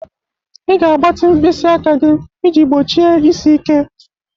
Ị ga-agbatị mkpịsị aka gị iji gbochie isi ike.